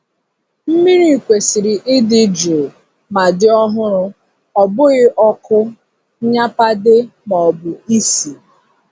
Mmiri kwesịrị ịdị jụụ ma dị ọhụrụ-ọ bụghị ọkụ, nnyapade, maọbụ isi.